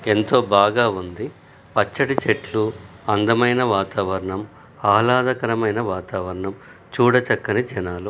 ఎంతో బాగా వుంది పచ్చ టి చెట్లు అందమైన వాతావరణం ఆహ్లాదకరమైన వాతావరణం చూడ చక్కని జనాలు.